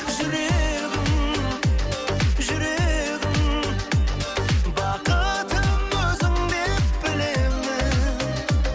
жүрегім жүрегім бақытым өзіңдеп білемін